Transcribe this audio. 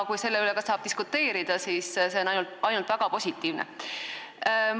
Kui selle üle saab diskuteerida, siis on see ainult väga positiivne.